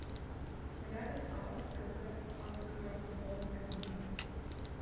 рядом ао кб агропромкредит